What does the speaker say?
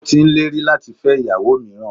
Ó ti n lérí láti fẹ́ ìyàwó míràn